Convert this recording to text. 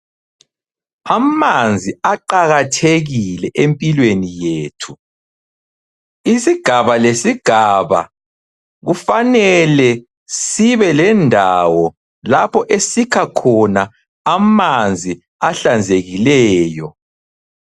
Amanzi aqakathekile empilweni yethu. Isigaba lesigaba kufanele sibe lendawo lapho esikha khona amanzi ahlanzekileyo.